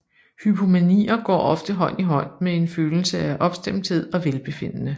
Hypomanier går ofte hånd i hånd med en følelse af opstemthed og velbefindende